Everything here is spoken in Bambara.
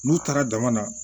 N'u taara dama na